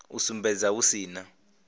u sumbedza hu si na